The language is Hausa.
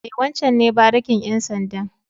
E, wancen ne barikin ƴan sandan.